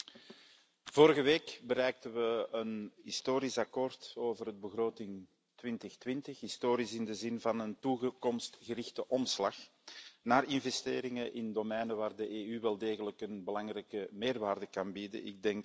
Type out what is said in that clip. Voorzitter, vorige week bereikten we een historisch akkoord over de begroting 2020, historisch in de zin van een toekomstgerichte omslag naar investeringen in domeinen waar de EU wel degelijk een belangrijke meerwaarde kan bieden.